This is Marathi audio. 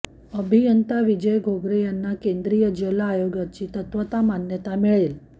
अभियंता विजय घोगरे यांनी केंद्रीय जल आयोगाची तत्वात मान्यता मिळेल